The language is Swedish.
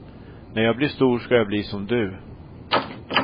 När jag blir stor ska jag bli som du.